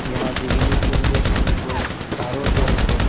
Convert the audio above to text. यहाँ बिजली के लिए तिन गो तारो गेल छै।